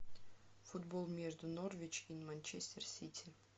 футбол между норвич и манчестер сити